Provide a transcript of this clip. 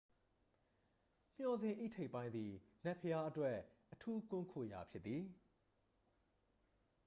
မျှော်စင်၏ ထိပ်ပိုင်းသည် နတ်ဘုရားအတွက် အထူးကွန်းခိုရာဖြစ်သည်